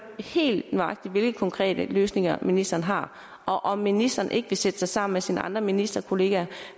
helt nøjagtigt hvilke konkrete løsninger ministeren har og om ministeren ikke vil sætte sig sammen med sine andre ministerkollegaer